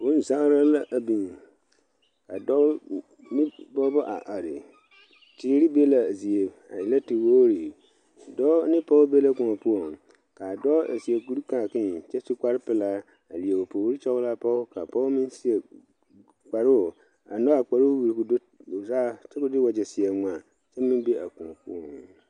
Bonzaare la a biŋ ka dɔɔ ne pɔgeba a are teere be la a zie a e la te wogre dɔɔ ne pɔge be la kõɔ poɔ kaa dɔɔ su kuri kaakee pelaa a leɛ o puori toɔlaa pɔge kaa pɔge meŋ seɛ kparo a nyoŋ a kparo wire ko'o do saa kyɛ ko de wagye seɛ ŋma kyɛ ko'o be a kõɔ poɔ.